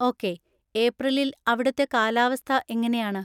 Okay. ഏപ്രിലിൽ അവിടുത്തെ കാലാവസ്ഥ എങ്ങനെയാണ്?